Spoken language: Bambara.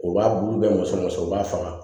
U b'a bulu bɛ muso u b'a faga